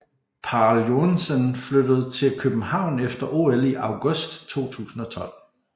Pál Joensen flyttede til København efter OL i august 2012